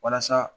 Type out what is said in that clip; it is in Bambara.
Walasa